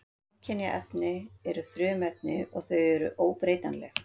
Samkynja efni eru frumefni og þau eru óbreytanleg.